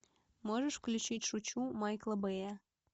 можешь включить шучу майкла бэя